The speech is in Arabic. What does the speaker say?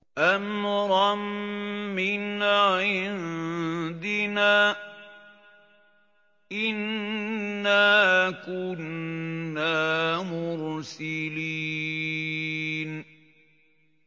أَمْرًا مِّنْ عِندِنَا ۚ إِنَّا كُنَّا مُرْسِلِينَ